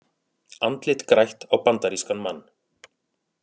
Andlit grætt á bandarískan mann